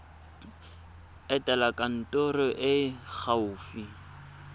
etela kantoro e e gaufi